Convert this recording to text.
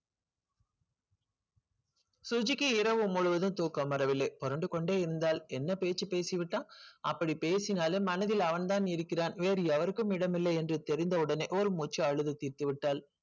சுஜிக்கு இரவு முழுவதும் தூக்கம் வரவில்லை புரண்டு கொண்டே இருந்தால் என்ன பேச்சி பேசி விட்டான் அப்படி பேசினாலே மனதில் அவன் தான் இருக்கிறான் எவருக்கும் இடம் இல்லை என்று தெரிந்து ஒடனே ஒரு மூச்சி அடக்கி விட்டால்